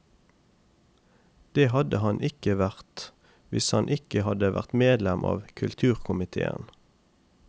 Det hadde han ikke vært hvis han ikke hadde vært medlem av kulturkomitéen.